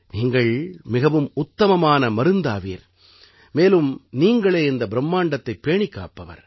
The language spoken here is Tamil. நீங்கள் மிகவும் உத்தமமான மருந்தாவீர் மேலும் நீங்களே இந்த பிரும்மாண்டத்தைப் பேணிக்காப்பவர்